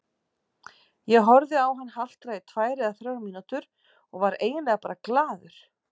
Ég horfði á hann haltra í tvær eða þrjár mínútur og var eiginlega bara glaður.